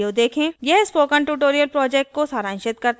यह spoken tutorial project को सारांशित करता है